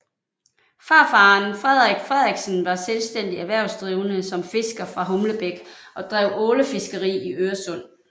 Farfaren Frederik Frederiksen var selvstændig erhvervsdrivende som fisker fra Humlebæk og drev ålefiskeri i Øresund